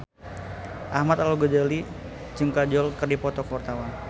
Ahmad Al-Ghazali jeung Kajol keur dipoto ku wartawan